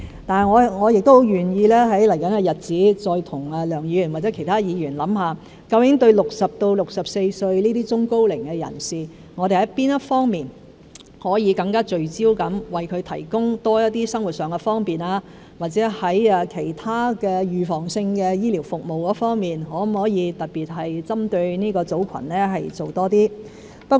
不過，我很願意在未來日子再和梁議員或者其他議員共同研究，究竟對60歲至64歲這些中高齡人士，我們在哪一方面可以更聚焦地為他們提供多些生活上的方便，或者在其他預防性醫療服務方面可否特別針對這個組群做多些工作。